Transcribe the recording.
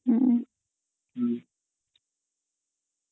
ହମ୍